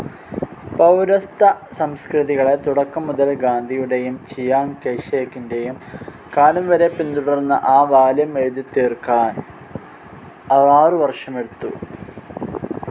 പൗരസ്ത്യസംസ്കൃതികളെ തുടക്കം മുതൽ ഗാന്ധിയുടേയും ചിയാങ്ങ്‌ കൈഷേക്കിന്റേയും കാലം വരെ പിന്തുടർന്ന ആ വോളിയും എഴുതിത്തീർക്കാൻ അറു വർഷമെടുത്തു.